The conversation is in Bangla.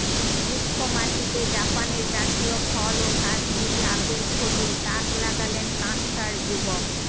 রুক্ষ মাটিতে জাপানের জাতীয় ফল ও কাশ্মীরি আপেল ফলিয়ে তাক লাগালেন কাঁকসার যুবক